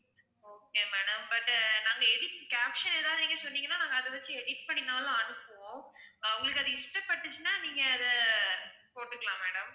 okay madam but நாங்க edit caption ஏதாவது நீங்க சொன்னீங்கன்னா நாங்க அதை வச்சு edit பண்ணினாலும் அனுப்புவோம் உங்களுக்கு அது இஷ்ட பட்டுச்சுனா நீங்க அதை போட்டுக்கலாம் madam